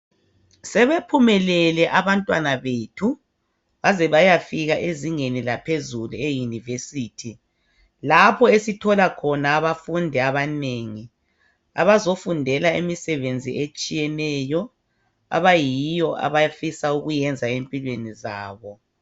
Sebephumelele abantwana bethu baze bayafika ezingeni laphezulu eyunivesithi lapho esithola khona abafundi abanengi abazofundela imisebenzi etshiyeneyo abayiyo abafisa ukuyenza empilweni zabo.